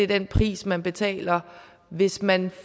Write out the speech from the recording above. den pris man betaler hvis man